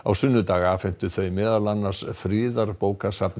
sunnudag afhentu þau meðal annars